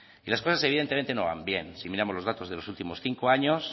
y las cosas evidentemente no van bien si miramos los datos de los últimos cinco años